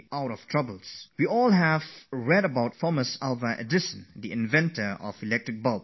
We have all read about the inventor of the electric bulb, Thomas Alva Edison